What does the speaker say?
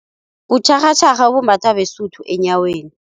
Kutjharhatjharha obumbathwa beSotho enyaweni.